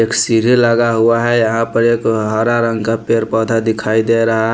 एक सीरी लगा हुआ है यहाँ पर एक हरा रंग का पेर पौधा दिखाई दे रहा है।